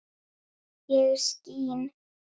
ég skín